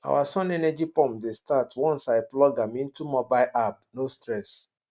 our sun energy pump dey start once i plug am into mobile ap no stress